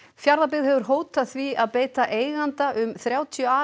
Fjarðabyggð hefur hótað því að beita eiganda um þrjátíu